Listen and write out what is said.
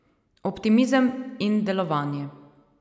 Optimizem in delovanje.